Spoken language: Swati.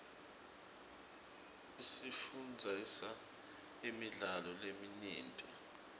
isifundzisa imidlalo leminyenti